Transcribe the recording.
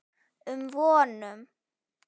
um vonum.